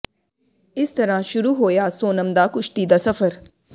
ਇਸ ਤਰ੍ਹਾਂ ਸ਼ੁਰੂ ਹੋਇਆ ਸੋਨਮ ਦਾ ਕੁਸ਼ਤੀ ਦਾ ਸਫ਼ਰ